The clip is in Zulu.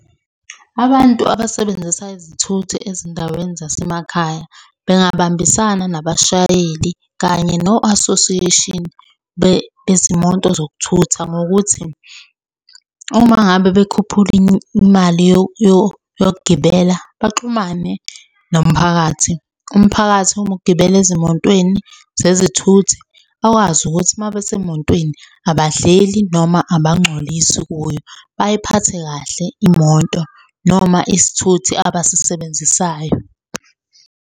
Abantu abasebenzisa izithuthi ezindaweni zasemakhaya bengabambisana nabashayeli kanye no-association bezimoto zokuthutha ngokuthi, uma ngabe bekhuphula imali yokugibela, baxhumane nomphakathi. Umphakathi uma ugibela ezimotweni zezithuthi, bakwazi ukuthi uma besemotweni, abadleli noma abangcolisi kuyo. Bayiphathe kahle imoto noma isithuthi abasisebenzisayo.